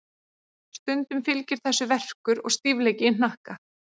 Stundum fylgir þessu verkur og stífleiki í hnakka.